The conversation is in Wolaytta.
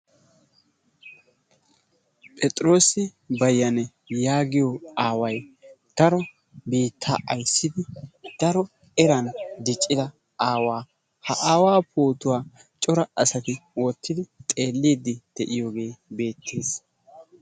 Phexirosi Bayani yaagiyo Aaway daro biitaa aysidi daro eran diccida Aawaa. Ha Aawaa pootuwaa cora asati wottidi xeelidi deiyoge beetees.